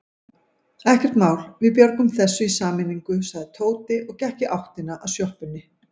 Ekkert mál, við björgum þessu í sameiningu sagði Tóti og gekk í áttina að sjoppunni.